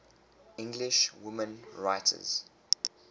english women writers